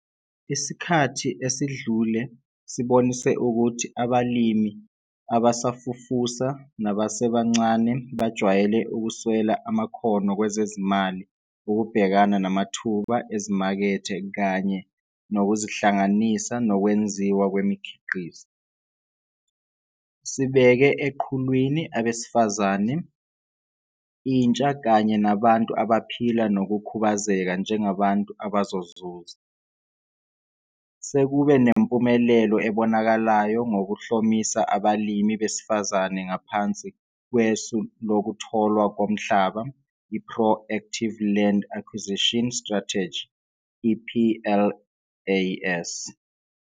Isikhathi esidlule sibonise ukuthi abalimi abasafufusa nabasebancane bajwayele ukuswela amakhono kwezezimali ukubhekana namathuba ezimakethe kanye nokuzihlanganisa nokwenziwa kwemikhiqizo. Sibeke eqhulwini abesifazane, intsha kanye nabantu abaphila nokukhubazeka njengabantu abazozuza. Sekube nempumelelo ebonakalayo ngokuhlomisa abalimi besifazane ngaphansi kwesu lokutholwa komhlaba i-Pro Active Land Acquisition Strategy, i-PLAS.